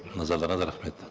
назарларыңызға рахмет